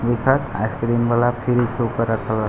ice cream वाला fridge के ऊपर रखा--